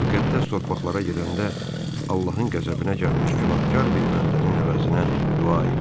Müqəddəs torpaqlara gedəndə, Allahın qəzəbinə gəlmiş günahkar bir bəndənin əvəzinə dua elə.